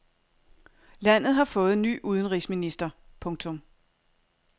Landet har fået ny udenrigsminister. punktum